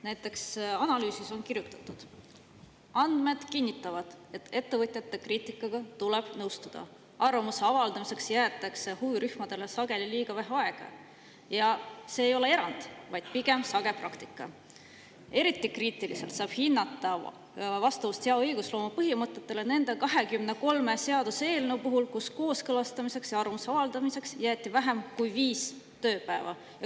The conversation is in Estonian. Näiteks analüüsis on kirjutatud: andmed kinnitavad, et ettevõtjate kriitikaga tuleb nõustuda; arvamuse avaldamiseks jäetakse huvirühmadele sageli liiga vähe aega ja see ei ole erand, vaid pigem sage praktika; eriti kriitiliselt saab hinnata vastavust hea õigusloome põhimõtetele nende 23 seaduseelnõu puhul, kus kooskõlastamiseks ja arvamuse avaldamiseks jäeti vähem kui viis tööpäeva.